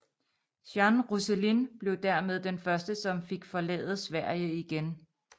Jeanne Rosselin blev dermed den første som fik forlade Sverige igen